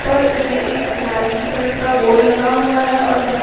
पर यह एक नारंगी कलर का बोर्ड लगा हुआ है और इधर --